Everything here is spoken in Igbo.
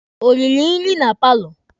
O riri nri na paalọ?